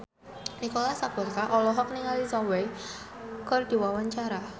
Nicholas Saputra olohok ningali Zhao Wei keur diwawancara